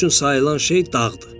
Bizim üçün sayılan şey dağdır.